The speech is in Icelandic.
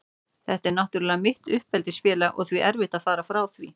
Þetta er náttúrlega mitt uppeldisfélag og því erfitt að fara frá því.